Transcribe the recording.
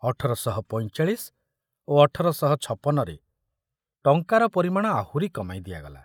ଅଠର ଶହ ପଇଁଚାଳିଶ ଓ ଅଠର ଶହ ଛପନ ରେ ଟଙ୍କାର ପରିମାଣ ଆହୁରି କମାଇ ଦିଆଗଲା।